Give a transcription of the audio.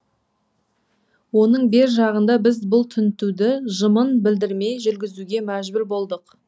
оның бер жағында біз бұл тінтуді жымын білдірмей жүргізуге мәжбүр болдық